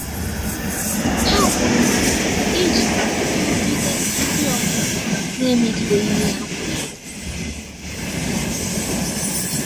ha kwuru maka ijikota nrụgide ndị ọgbọ na emegideghi ihe ha kwenyere